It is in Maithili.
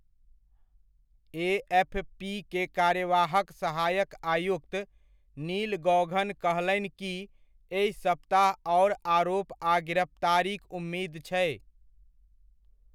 एएफपी के कार्यवाहक सहायक आयुक्त, नील गौघन कहलनि कि एहि सप्ताह आओर आरोप आ गिरफ्तारीक उम्मीद छै।